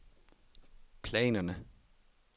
planerne